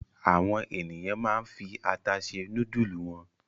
Àwọn ènìyàn máa ń fi ata se núdúlù wọn.